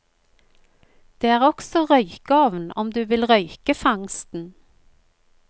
Det er også røykeovn om du vil røyke fangsten.